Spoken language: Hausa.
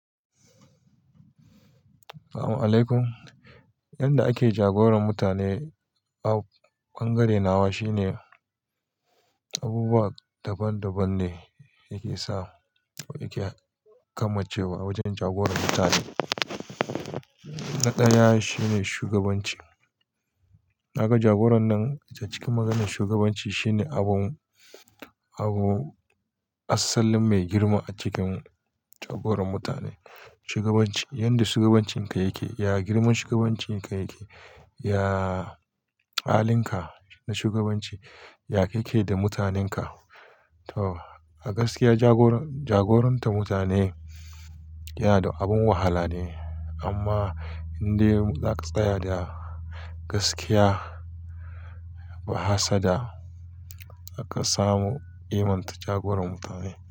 Amin laikum. Yanda ake jagoran mutane a bangare nawa shine abubuwa daban-daban ne yake sa yake kamancewa a wajen jagoran mutane. Na ɗaya shine shugabanci. Naga jagoran nan a cikin maganin shugabanci shine abu, abu asalin mai girma a cikin jagoran mutane. Shugabanci, yanda shugabancinka yake, ya girman shugabancinka yake, ya halinka na shugabanci, ya kake da mutanenka. To a gaskiya jagoran, jagoranta mutane yana da abin wahala ne amma indai zaka tsaya da gaskiya ba hassada zaka samu iman jagoran mutane.